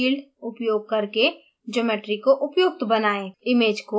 uffफ़ोर्स field उपयोग करके geometry को उपयुक्त बनाएं